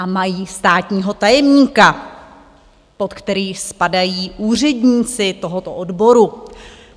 A mají státního tajemníka, pod kterého spadají úředníci tohoto odboru.